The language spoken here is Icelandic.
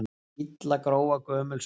Illa gróa gömul sár.